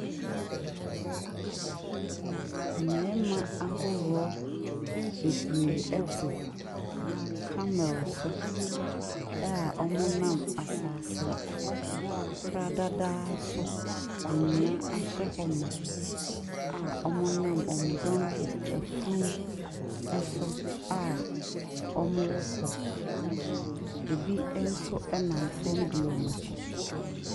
Mmarima ahodoɔ bebree te carmel so a wɔnam asase pradadaa so, anwea ashyɛ hɔ ma a wɔnam wɔn donkey afunumu so a wɔrekɔ. Ɛbi nso nam fam di wɔn akyi.